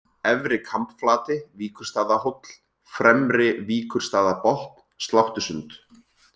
Efri-Kambflati, Víkurstaðahóll, Fremri-Víkurstaðabotn, Sláttusund